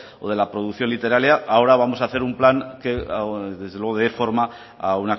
o de la producción literaria ahora vamos a hacer un plan que desde luego dé forma a